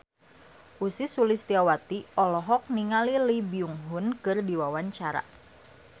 Ussy Sulistyawati olohok ningali Lee Byung Hun keur diwawancara